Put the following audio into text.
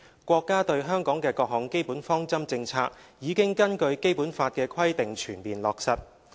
國家對香港的各項基本方針政策已根據《基本法》的規定全面落實。